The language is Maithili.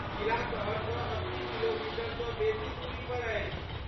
किला शहरसँ अस्सी किलोमीटरसँ बेसी दूरीपर अछि।